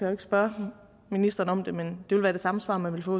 jo ikke spørge ministeren om det men det vil være det samme svar man ville få